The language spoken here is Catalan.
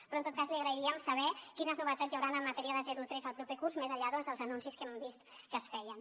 però en tot cas ens agradaria saber quines novetats hi haurà en matèria de zero tres el proper curs més enllà doncs dels anuncis que hem vist que es feien